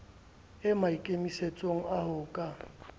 e maikemisetsong a ho ka